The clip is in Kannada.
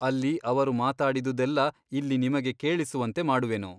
ಅಲ್ಲಿ ಅವರು ಮಾತಾಡಿದುದೆಲ್ಲ ಇಲ್ಲಿ ನಿಮಗೆ ಕೇಳಿಸುವಂತೆ ಮಾಡುವೆನು.